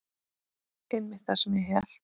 Einmitt það sem ég hélt.